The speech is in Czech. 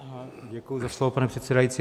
Děkuji za slovo, pane předsedající.